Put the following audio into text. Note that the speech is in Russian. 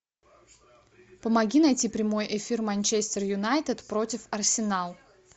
помоги найти прямой эфир манчестер юнайтед против арсенал